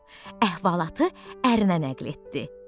Əhvalatı ərinə nəql etdi.